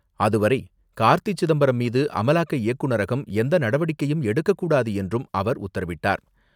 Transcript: அதுவரை கார்த்தி சிதம்பரம் மீது அமலாக்க இயக்குநரகம் எந்த நடவடிக்கையும் எடுக்கக்கூடாது என்றும் அவர் உத்தரவிட்டார்.